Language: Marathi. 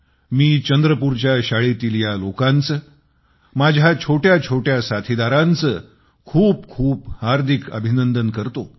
मी चंद्रपूरच्या शाळेतील ह्या लोकांचे माझ्या छोट्या छोट्या साथीदारांचे खूप खूप हार्दिक अभिनंदन करतो